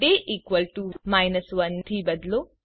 day equal to 1 થી બદલો